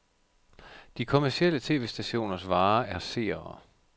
De kommercielle tv-stationers vare er seere.